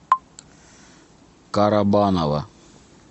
карабаново